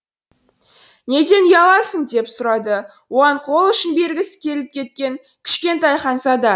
неден ұяласың деп сұрады оған қол ұшын бергісі келіп кеткен кішкентай ханзада